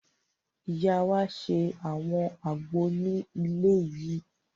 Ìyá wa ṣe àwọn àgbo ní ilé yìí